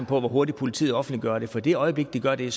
på hvor hurtigt politiet offentliggør det for i det øjeblik de gør det er